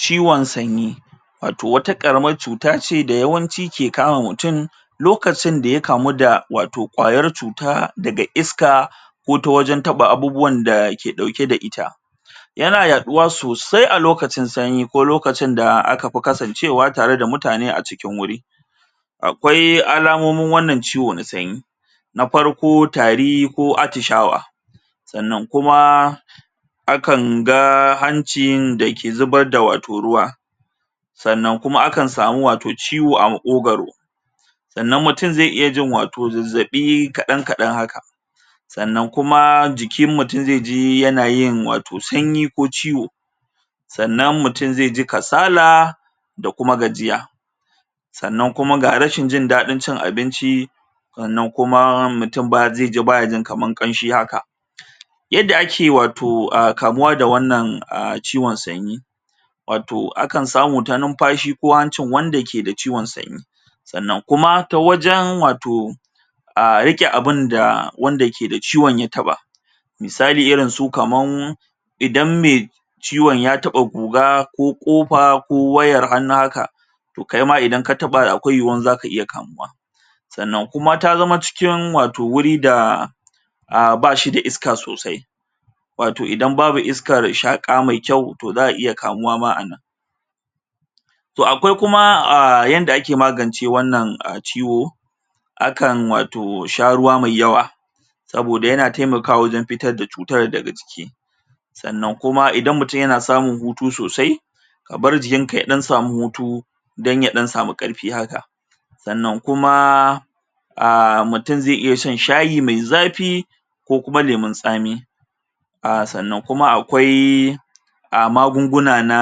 Ciwon sanyi wato wata karamar cuta ce da yawanci ke kama mutum lokacin da ya kamu da wato kwayar cuta daga iska ko ta wajen taɓa abubuwan da ke ƙauke da ita yana yaɗuwa sosai a lokacin sanyi ko lokacin da aka fi kasance wa tare da mutane a cikin wuri akwai alamomin wannan ciwo na sanyi na farko tari ko atishawa sannan kuma a kan ga hancin da ke zubar da wato ruwa sannan a kan samu wato ciwo a maƙogaro sannan mutum zai iya jin wato zazzabi kadan kadan haka sannan kuma jikin mutum zai ji yanayin wato sanyi ko ciwo sannan mutum zai ji kasala da kuma gajiya sannan kuma ga rashin jin dadin cin abinci sannan kuma mutum zai ji ba zai ji baya jin kaman ƙanshi haka adda ake wato kamuwa da wannan a ciwon sanyi wato akan samu ta numfashi ko hancin wanda ke da ciwon sanyi sannan kuma ta wajen wato a rike abin da wanda ke da ciwon ya taɓa misalin irin su kaman idan me idan mai ciwon ya taba goga ko ƙofa wayar hannu haka toh kai ma idan ka taɓa akwai yiwuwar za ka iya kamuwa sannan kuma ta zama cikin wato wuri da a ba shi da iska sosai wato idan babu iska da shaƙa mai kyau toh za a iya kamuwa ma anan. Toh akwai aaa yanda ake magance wannan ciwo akan wato sha ruwa mai yawa saboda yana taimakawa wajen fitar da cutar daga jiki sannan kuma idan mutum yana samun hutu sosai ka bar jikin ka ya ɗan samu hutu don ya ɗan samu ƙarfi haka sannan kuma aaa mutum zai iya shan shayi mai zafi ko kuma lemun tsami aaa sannan kuma akwai a magunguna na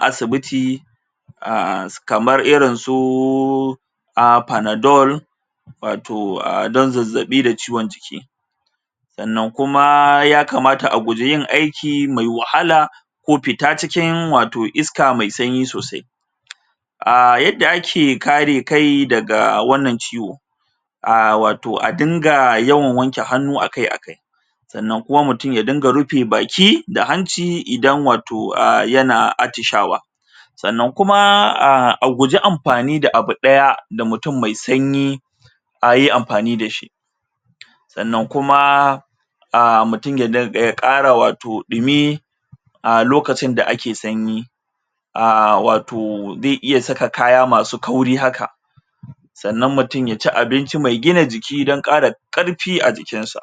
asibiti a kamar irin suuu aaa panadol wato don zazzabi da ciwon jiki sannan kuma ya kamata a guji yin aiki mai wahala ko fita cikin wato iska mai sanyi sosai aaa yadda ake kare kai daga wannan ciwo aaa wato a dinga yin wankin hannu akai akai sannan kuma mutum ya dinga rufe baki da hanci idan wato yana aaa atishawa sannan kuma aaa a guji amfani da abu daya da mutum mai sanyi a yi amfani da shi sannan kuma mutum ya dinga ya ƙara wato dumi a lokacin da ake sanyi a wato zai iya saka kaya na masu kauri haka sannan mutum ya ci abinci mai gina jiki don kara karfi a jikin sa.